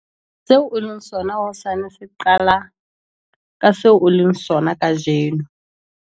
Seo o leng sona hosane se qala ka seo o leng sona kajeno!